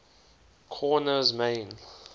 korner's main